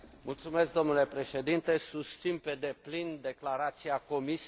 Domnule președinte, susțin pe deplin declarația Comisiei.